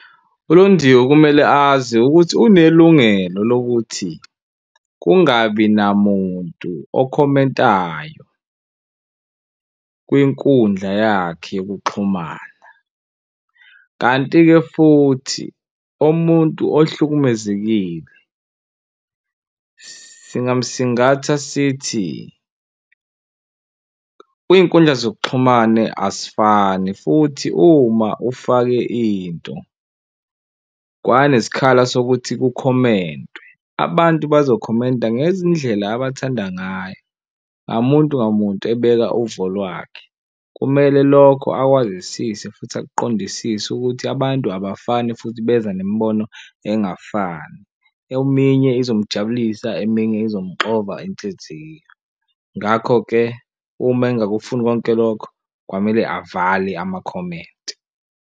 ULondiwe kumele azi ukuthi unelungelo lokuthi kungabi namuntu okhomentayo kwinkundla yakhe yokuxhumana, kanti-ke futhi umuntu ohlukumezekile singamusingatha sithi, kwinkundla zokuxhumana asifani futhi uma ufake into kwanesikhala sokuthi kukhomentwe abantu bazokhomenta ngezindlela abathanda ngayo. Ngamuntu ngamuntu ebeka uvo lwakhe. Kumele lokho akwazisise futhi akuqondisise ukuthi abantu abafani futhi beza nemibono engafani. Eminye izomujabulisa eminye izomxova inhliziyo. Ngakho-ke uma engingakufuni konke lokho, kwamele avale amakhomenti.